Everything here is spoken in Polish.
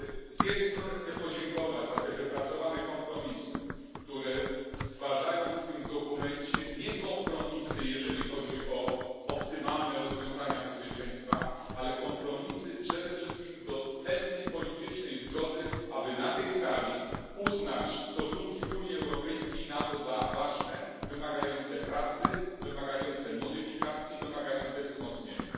Z jednej strony chcę podziękować za te wypracowane kompromisy, nie jeżeli chodzi o optymalne rozwiązania bezpieczeństwa, ale o kompromisy przede wszystkim do pewnej politycznej zgody, aby na tej sali uznać stosunki Unii Europejskiej i NATO za ważne, wymagające pracy, wymagające modyfikacji, wymagające wzmocnienia.